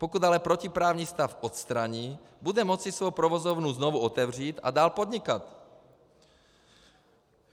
Pokud ale protiprávní stav odstraní, bude moci svou provozovnu znovu otevřít a dál podnikat.